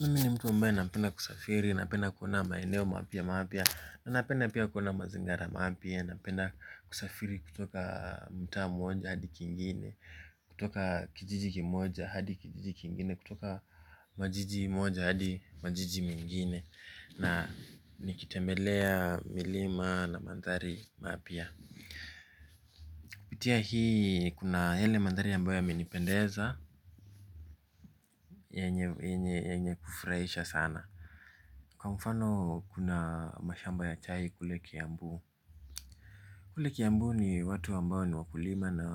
Mini mtu ambae napenda kusafiri, napenda kuona maeneo mapya mapya, napenda pia kuona mazingara mapya, napenda kusafiri kutoka mutaa mmoja hadi kingine, kutoka kijiji kimoja hadi kijiji kingine, kutoka majiji mmoja hadi majiji mengine. Na nikitembelea milima na maathari mapya. Pitia hii kuna hele mandhari ambae yamenipendeza yenye kufraisha sana. Kwa mfano kuna mashamba ya chai kule kiambu. Kule kiambu ni watu ambao ni wakulima na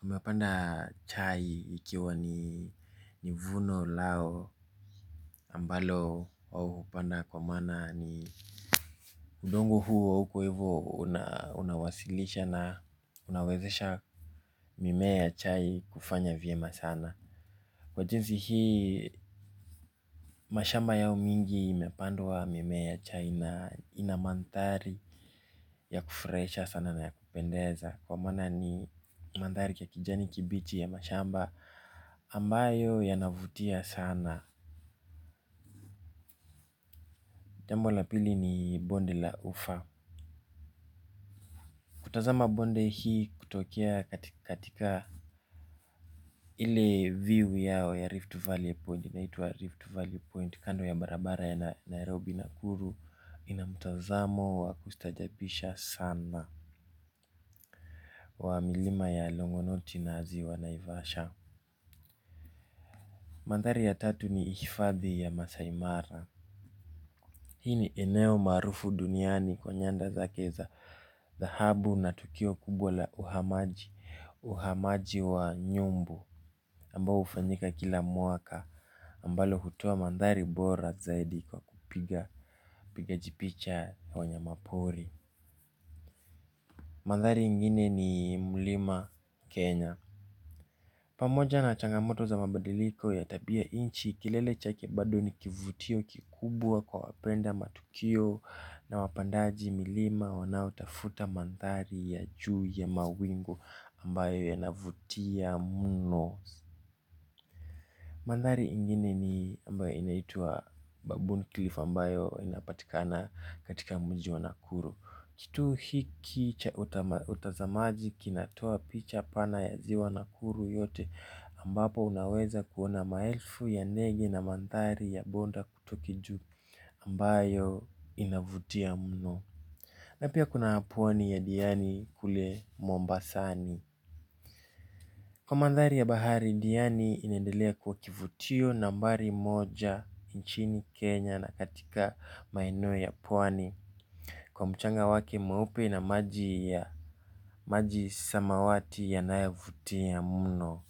wamepanda chai ikiwa ni vuno lao ambalo waoupanda kwa maana ni udongo huo kwaivo unawasilisha na unawezesha mimea ya chai kufanya vyema sana. Kwa jinsi hii mashamba yao mingi imepandwa mimea ya chai na ina manthari ya kufraisha sana na ya kupendeza. Kwa maana ni manthari ya kijani kibichi ya mashamba ambayo yanavutia sana. Jambo la pili ni bonde la ufa. Kutazama bonde hii kutokea katika ile view yao ya Rift Valley Point. Inatwa Rift Valley Point kando ya barabara ya Nairobi Nakuru inamutazamo wa kustajabisha sana. Wa milima ya longonoti na ziwa naivasha. Mathari ya tatu ni hifadhi ya masai mara. Hii ni eneo marufu duniani kwenye nda zake za dhahabu na tukio kubwa la uhamaji. Uhamaji wa nyumbu ambao ufanyika kila mwaka. Ambalo hutoa mandhari bora zaidi kwa kupiga jipicha wanya mapori. Mandhari ingine ni Mlima Kenya pamoja na changamoto ya tabia nchi kilele chake bado ni kivutio kikubwa kwa wapenda matukio. Na wapandaji milima wanao tafuta mandhari ya juu ya mawingu ambayo yanavutia muno. Mandhari ingine ni mbao inaitua babuon cliff ambayo inapatikana katika mji wa nakuru. Kitu hiki utazamaji kinatoa picha pana ya ziwa nakuru yote ambapo unaweza kuona maelfu ya negi na mandhari ya bonda kutokiju ambayo inavutia mno. Na pia kuna pwani ya diani kule mombasani. Kwa mandhari ya bahari diani inaendelea kuwa kivutio nambari moja inchini kenya na katika maeneo ya pwani kwa mchanga wake mweupe na maji ya samawati yanayovutia mno.